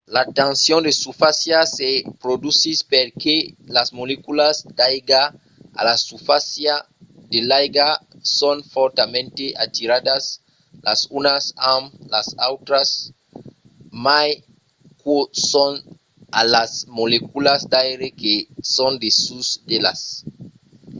la tension de susfàcia se produsís perque las moleculas d'aiga a la susfàcia de l'aiga son fòrtament atiradas las unas amb las autras mai qu'o son a las moleculas d'aire que son dessús d'elas